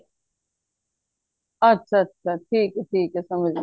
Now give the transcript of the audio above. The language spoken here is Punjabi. ਅੱਛਾ ਅੱਛਾ ਠੀਕ ਏ ਠੀਕ ਏ ਸਮਝ ਗੀ